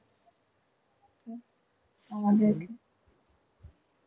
আমাদের